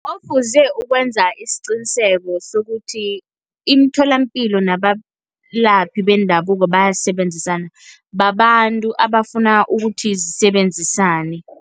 Ofuze ukwenza isiqiniseko sokuthi imitholampilo nabelaphi bendabuko bayasebenzisana, babantu abafuna ukuthi zisebenzisane.